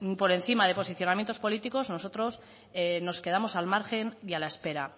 por encima de posicionamientos políticos nosotros nos quedamos al margen y a la espera